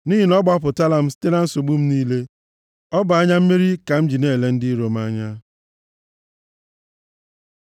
Nʼihi na ọ gbapụtala m site na nsogbu m niile, ọ bụ anya mmeri ka m ji na-ele ndị iro m anya.